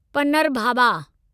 पनरभाबा